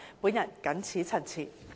本人謹此陳辭。